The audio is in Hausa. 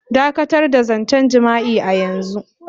Dakatar da zancen jima'i a yanzu.